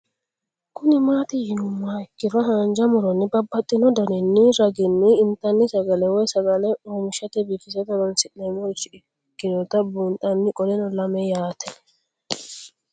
Kuni mati yinumoha ikiro hanja muroni babaxino daninina ragini intani sagale woyi sagali comishatenna bifisate horonsine'morich ikinota bunxana qoleno lame yaate